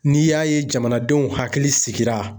N'i y'a ye jamanadenw hakili sigira